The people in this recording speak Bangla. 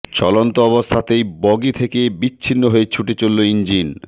চলন্ত অবস্থাতেই বগি থেকে বিচ্ছিন্ন হয়ে ছুটে চলল ইঞ্জিন